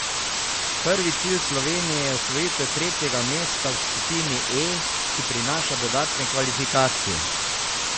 Prvi cilj Slovenije je osvojitev tretjega mesta v skupini E, ki prinaša dodatne kvalifikacije.